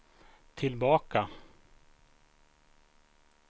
tillbaka